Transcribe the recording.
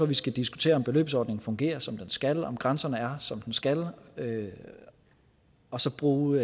vi skal diskutere om beløbsordningen fungerer som den skal om grænsen er som den skal være og så bruge